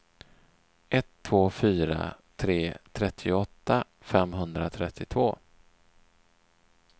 ett två fyra tre trettioåtta femhundratrettiotvå